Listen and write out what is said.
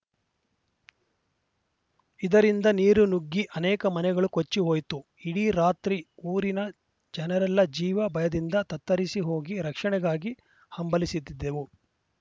ಇದರಿಂದ ನೀರು ನುಗ್ಗಿ ಅನೇಕ ಮನೆಗಳು ಕೊಚ್ಚಿ ಹೋಯ್ತು ಇಡೀ ರಾತ್ರಿ ಊರಿನ ಜನರೆಲ್ಲ ಜೀವ ಭಯದಿಂದ ತತ್ತರಿಸಿ ಹೋಗಿ ರಕ್ಷಣೆಗಾಗಿ ಹಂಬಲಿಸುತ್ತಿದ್ದೆವು